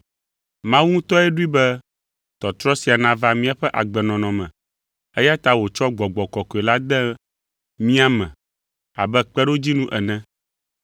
Mawu ŋutɔe ɖoe be tɔtrɔ sia nava míaƒe agbenɔnɔ me, eya ta wòtsɔ Gbɔgbɔ Kɔkɔe la de mía me abe kpeɖodzinu ene.